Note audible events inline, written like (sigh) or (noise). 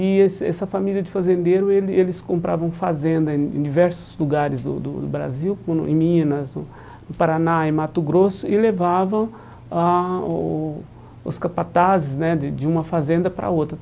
E esse essa família de fazendeiro, ele eles compravam fazenda em em diversos lugares do do do Brasil, (unintelligible) em Minas, no Paraná, em Mato Grosso, e levavam ah o os capatazes né de de uma fazenda para outra.